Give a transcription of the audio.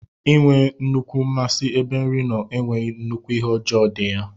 Inwee nnukwu mmasi ebe nri nno enweghi nnukwu ihe ọjọ di ya.